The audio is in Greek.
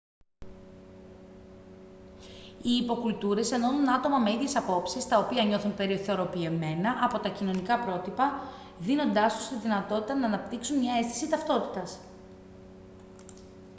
οι υποκουλτούρες ενώνουν άτομα με ίδιες απόψεις τα οποία νιώθουν περιθωριοποιημένα από τα κοινωνικά πρότυπα δίνοντάς τους τη δυνατότητα να αναπτύξουν μια αίσθηση ταυτότητας